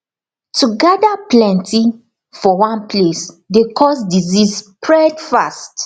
to gather plenty for one place dey cause disease spread fast